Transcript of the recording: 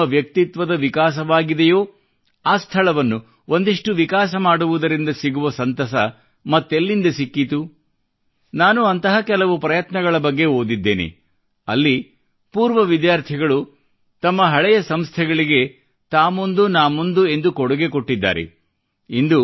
ಎಲ್ಲಿ ನಿಮ್ಮ ವ್ಯಕ್ತಿತ್ವದ ವಿಕಾಸವಾಗಿದೆಯೋ ಆ ಸ್ಥಳವನ್ನು ಒಂದಿಷ್ಟು ವಿಕಾಸ ಮಾಡುವುದರಿಂದ ಸಿಗುವ ಸಂತಸ ಮತ್ತೆಲ್ಲಿಂದ ಸಿಕ್ಕೀತು ನಾನು ಅಂತಹ ಕೆಲವು ಪ್ರಯತ್ನಗಳ ಬಗ್ಗೆ ಓದಿದ್ದೇನೆ ಅಲ್ಲಿ ಪೂರ್ವ ವಿದ್ಯಾರ್ಥಿಗಳು ತಮ್ಮ ಹಳೆಯ ಸಂಸ್ಥೆಗಳಿಗೆ ತಾ ಮುಂದುನಾ ಮುಂದೆ ಎಂದು ಕೊಡುಗೆ ನೀಡಿದ್ದಾರೆ